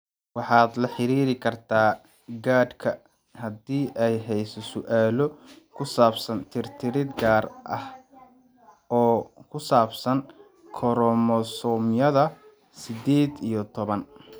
Waxaad la xiriiri kartaa GARDka haddii aad hayso su'aalo ku saabsan tirtirid gaar ah oo ku saabsan koromosoomyada sided iyo toban.